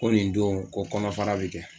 Ko nin don ko kɔnɔfara be kɛ